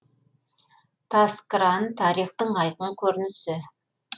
таскран тарихтың айқын көрінісі